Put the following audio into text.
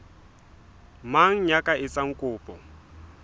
mang ya ka etsang kopo